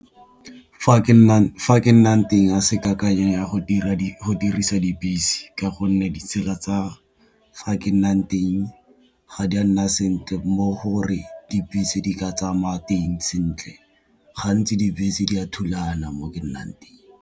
Fa ke nnang teng a se kakanyo ya go dirisa ka gonne ditsela tsa fa ke nnang teng ga di a nna sentle, mo gore di ka tsamaya teng sentle gantsi dibese di a thulana mo ke nnang teng.